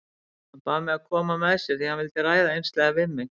Hann bað mig að koma með sér því hann vildi ræða einslega við mig.